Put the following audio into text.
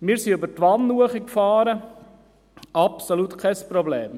Wir fuhren über Twann hinauf, absolut kein Problem.